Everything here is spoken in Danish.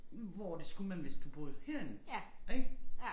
Hvor det skulle man hvis du bor herinde ik